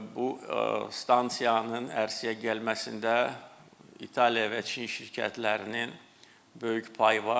Bu stansiyanın ərsəyə gəlməsində İtaliya və Çin şirkətlərinin böyük payı var.